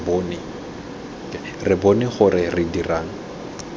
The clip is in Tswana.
re bone gore re dirang